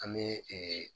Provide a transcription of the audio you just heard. An bɛ